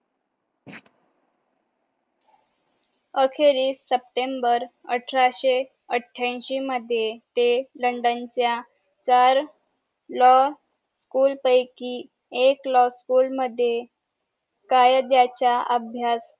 आखेरीस September अठराशे आठांशी मध्ये ते लंडन च्या व्हर लॉ स्कुल पैकी एक लॉ स्कुल कायद्याच्या अभ्यास